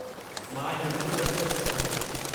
मां इन में मदद करे सघां थो।